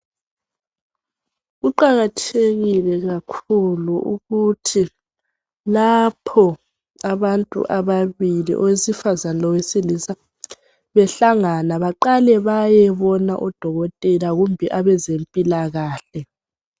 Kuqakathekile kakhulu ukuthi lapho abantu ababili owesifazana lowesilisa behlangana baqale bayebona odokotela kumbe abezempilakahle.